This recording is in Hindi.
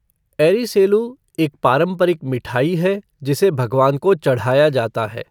एरीसेलु, एक पारंपरिक मिठाई है जिसे भगवान को चढ़ाया जाता है।